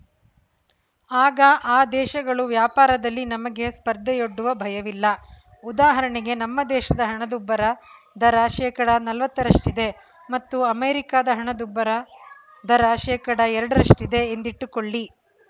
ಆಗ ಆ ದೇಶಗಳು ವ್ಯಾಪಾರದಲ್ಲಿ ನಮಗೆ ಸ್ಪರ್ಧೆಯೊಡ್ಡುವ ಭಯವಿಲ್ಲ ಉದಾಹರಣೆಗೆ ನಮ್ಮ ದೇಶದ ಹಣದುಬ್ಬರ ದರ ಶೇಕಡಾ ನಲ್ವತ್ತರಷ್ಟಿದೆ ಮತ್ತು ಅಮೆರಿಕದ ಹಣದುಬ್ಬರ ದರ ಶೇಕಡಾ ಎರಡರಷ್ಟಿದೆ ಎಂದಿಟ್ಟುಕೊಳ್ಳಿ